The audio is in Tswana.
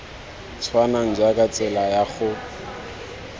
tshwanang jaaka tsela ya go